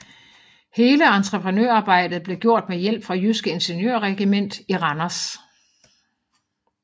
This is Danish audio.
Hele entreprenørarbejdet blev gjort med hjælp fra Jyske Ingeniørregiment i Randers